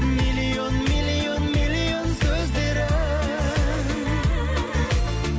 миллион миллион миллион сөздері